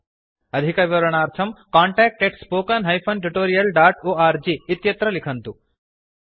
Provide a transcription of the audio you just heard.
अधिकविवरणार्थं contactspoken tutorialorg लिखन्तु